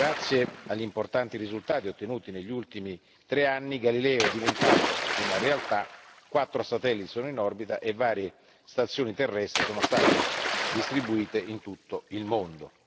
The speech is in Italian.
Grazie agli importanti risultati ottenuti negli ultimi tre anni, Galileo è diventato una realtà quattro satelliti sono in orbita e varie stazioni terrestri sono state distribuite in tutto il mondo.